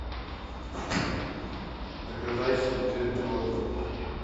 заказать обезжиренное молоко